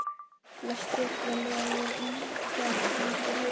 Blessunarlega voru engar slíkar á heimilinu.